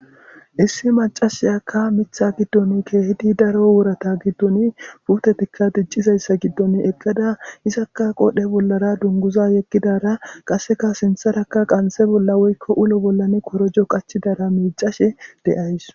Issi macashiyakka mitta giddon keehidi daro worata giddon putetikka diccizayssa giddon eqqada isaka qodhe bollara dunguza yeggidara qasseka sinttarakka qanse bolla woykko ulo bollan korojo qachidara miicashe de'awusu.